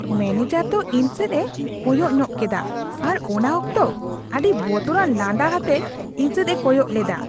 Manager ᱫᱚ ᱤᱧ ᱥᱮᱫ ᱮ ᱠᱚᱭᱚᱜ ᱧᱚᱜ ᱠᱮᱫᱟ ᱟᱨ ᱚᱱᱟ ᱚᱠᱛᱚ ᱟᱹᱰᱤ ᱵᱚᱛᱚᱨᱟᱱ ᱞᱟᱸᱫᱟ ᱟᱛᱮᱫ ᱤᱧ ᱥᱮᱫᱼᱮ ᱠᱚᱭᱚᱜ ᱞᱮᱫᱟ ᱾